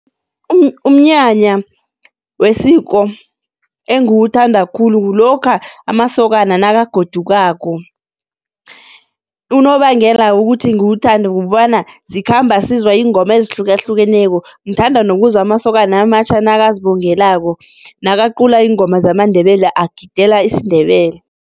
Umnyanya wesiko engiwuthanda khulu kulokha amasokana nakagodukako unobangela kukuthi ngiwuthande kukobana, zikhamba sizwa iingoma ezihlukahlukeneko, ngithanda nokuzuzwa amasokana amatjha nakazibongelako, nakaqulako ingoma zamaNdebele agidela isiNdebele.